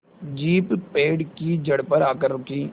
jeep पेड़ की जड़ पर आकर रुकी